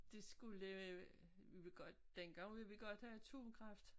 De skulle lave vi vil godt dengang ville vi godt have atomkraft